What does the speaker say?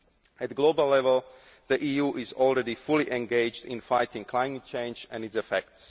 At global level, the EU is already fully engaged in fighting climate change and its effects.